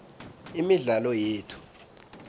imidlalo yethu